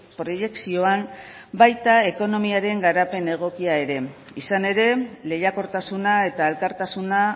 proiekzioan baita ekonomiaren garapen egokia ere izan ere lehiakortasuna eta elkartasuna